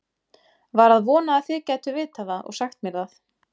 Var að vona þið gætuð vitað það og sagt mér það.